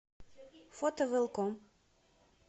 фото велком